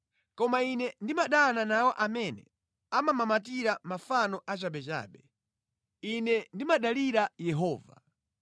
Koma ine ndimadana nawo amene amamamatira mafano achabechabe; ine ndimadalira Yehova.